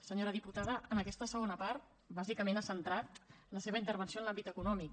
senyora diputada en aquesta segona part bàsicament ha centrat la seva intervenció en l’àmbit econòmic